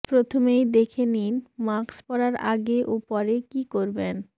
প্রথমেই দেখে নিন মাস্ক পরার আগে ও পরে কী করবেন